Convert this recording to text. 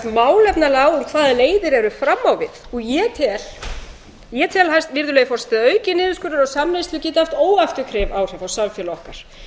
málefnalega á um hvaða leiðir eru fram á við og ég tel virðulegi forseti að aukinn niðurskurður á samneyslu geti haft óafturkræf áhrif á samfélag okkar